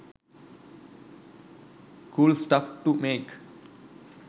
cool stuff to make